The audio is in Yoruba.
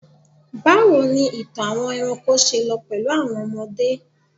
bawo ni ìtàn àwọn eranko se lọ pẹlú àwọn ọmọdé